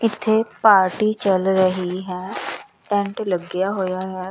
ਇੱਥੇ ਪਾਰਟੀ ਚੱਲ ਰਹੀ ਹੈ ਟੈਂਟ ਲੱਗਿਆ ਹੋਇਆ ਹੈ।